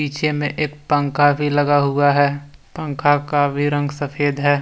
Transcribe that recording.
पीछे में एक पंखा भी लगा हुआ है पंखा का भी रंग सफेद है।